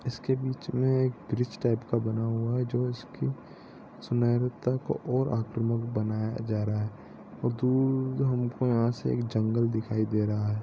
इसके बीच मे एक ब्रिज टाइप का बना हुआ है जो इसके सुंदरता को और आक्रमक बनाया जा रहा है और दूर जो हमको यहाँ से एक जंगल दिखाई दे रहा है।